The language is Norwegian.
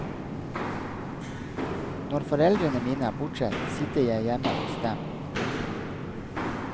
Når foreldrene mine er bortreist sitter jeg hjemme hos dem. punktum